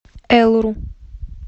элуру